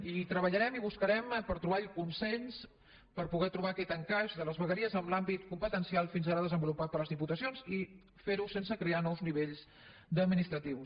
i treballarem i buscarem per trobar el consens per poder trobar aquest encaix de les vegueries en l’àmbit competencial fins ara desenvolupat per les diputacions i fer ho sense crear nous nivells administratius